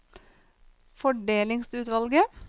fordelingsutvalget